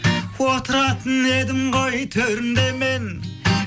отыратын едім ғой төрінде мен